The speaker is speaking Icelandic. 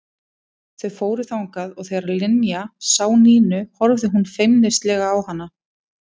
Þau fóru þangað og þegar Linja sá Nínu horfði hún feimnislega á hana.